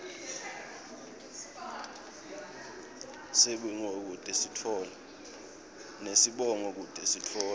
nesibongo kute sitfola